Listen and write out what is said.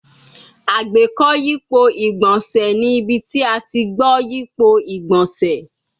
Agbeko yipo igbonse ni ibi ti a ti gbo yipo igbonse